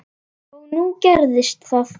Og nú gerðist það.